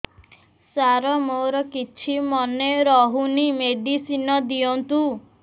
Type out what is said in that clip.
ସାର ମୋର କିଛି ମନେ ରହୁନି ମେଡିସିନ ଦିଅନ୍ତୁ